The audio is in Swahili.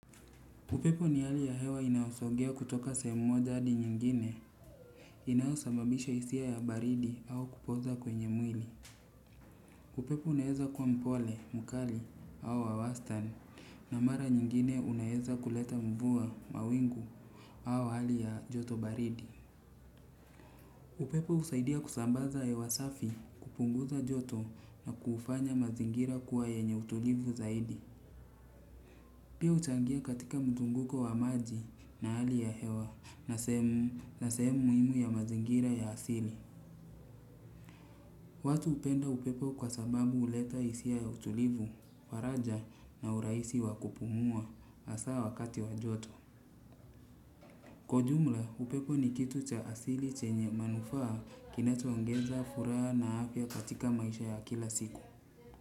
Upepo ni hali ya hewa inaosogea kutoka sehemu moja hadi nyingine inaosababisha hisia ya baridi au kupoza kwenye mwili. Upepo uneeza kkwa mpole, mkali au wa wastani na mara nyingine unaeza kuleta mvua, mawingu au hali ya joto baridi. Upepo husaidia kusambaza hewa safi kupunguza joto na kufanya mazingira kuwa yenye utulivu zaidi. Pia uchangia katika mzunguko wa maji na hali ya hewa na sehemu muhimu ya mazingira ya asili. Watu hupenda upepo kwa sababu huleta hisia ya utulivu, faraja na urahisi wa kupumua hasaa wakati wa joto. Kwa ujumla upepo ni kitu cha asili chenye manufaa kinachoongeza furaha na afya katika maisha ya kila siku.